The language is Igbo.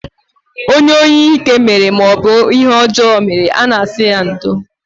Onye ihe ike maọbụ ihe ọjọọ mere, a na-asị ya ndo